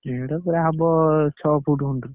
ମେଢ ସେଇଆ ହବ ଛଅ foot ଖଣ୍ଡ।